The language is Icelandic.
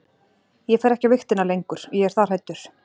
Ég fer ekki á vigtina lengur, ég er það hræddur.